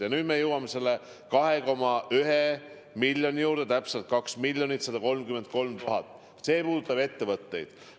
Ja nüüd me jõuame selle 2,1 miljoni, täpsemalt 2 133 000 euro juurde – see puudutab ettevõtteid.